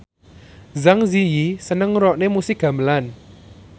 Zang Zi Yi seneng ngrungokne musik gamelan